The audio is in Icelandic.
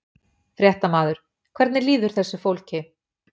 Fréttamaður: Hvernig líður þessu fólki?